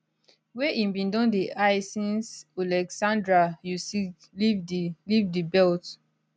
wey im bin don dey eye since oleksandr usyk leave di leave di belt